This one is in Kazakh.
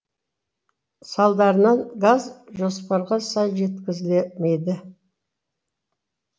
салдарынан газ жоспарға сай жеткізілмеді